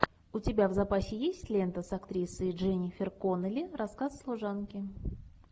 у тебя в запасе есть лента с актрисой дженнифер коннелли рассказ служанки